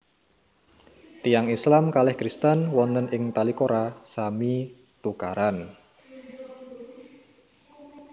Tiyang Islam kalih Krsiten wonten ing Tolikara sami tukaran